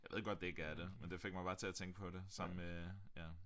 Jeg ved godt det ikke er det men det fik mig bare til at tænke på det som øh ja